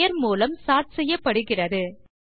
பெயர் மூலம் சோர்ட் செய்யப்படுகிறது